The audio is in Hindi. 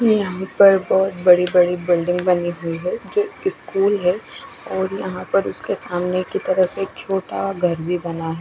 ये यहाँ पर बोहोत बड़ी बड़ी बिल्डिंग बनी हुई है जो स्कूल है और यहाँ पर उसके सामने की तरफ एक छोटा घर भी बना है।